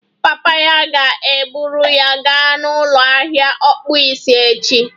Papa ya ga-eburu ya gaa n'ụlọ ahịa ọkpụisi echi